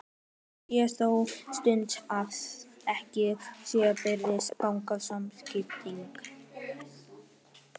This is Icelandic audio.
Það sé þó synd ef ekki sé barist gegn samkynhneigð.